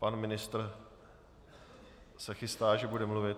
Pan ministr se chystá, že bude mluvit.